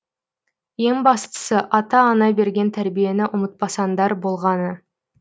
ең бастысы ата ана берген тәрбиені ұмытпасаңдар болғаны